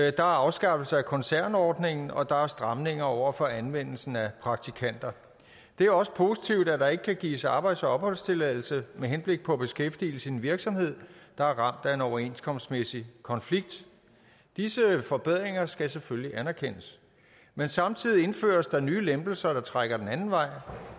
er afskaffelse af koncernordningen og der er stramninger over for anvendelsen af praktikanter det er også positivt at der ikke kan gives arbejds og opholdstilladelse med henblik på beskæftigelse i en virksomhed der er ramt af en overenskomstmæssig konflikt disse forbedringer skal selvfølgelig anerkendes men samtidig indføres der nye lempelser der trækker den anden vej